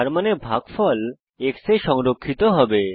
যার মানে ভাগফল x এ সংরক্ষিত হবে